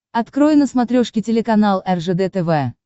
открой на смотрешке телеканал ржд тв